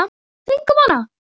Við fengum hana!